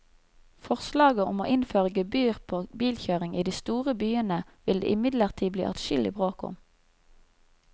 Forslaget om å innføre gebyr på bilkjøring i de store byene vil det imidlertid bli adskillig bråk om.